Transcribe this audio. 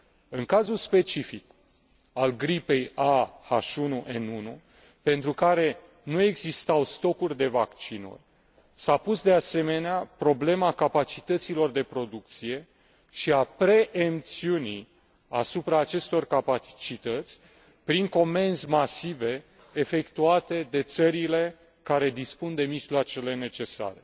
În cazul specific al gripei A H1N1, pentru care nu existau stocuri de vaccinuri, s a pus, de asemenea, problema capacităților de producție și a preemțiunii asupra acestor capacități prin comenzi masive efectuate de țările care dispun de mijloacele necesare.